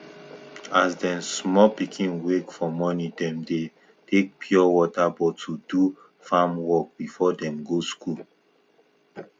as dem small pikin wake for morning dem dey take pure water bottle do farm work before dem go school